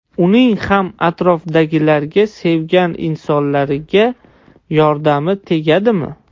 Uning ham atrofdagilarga, sevgan insonlariga yordami tegadimi?